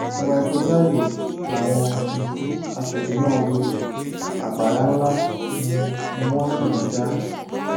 ìwà ìkọjá ààyè làwọn um aṣòfin náà hu àpárá ńlá um ni wọn sì ń dá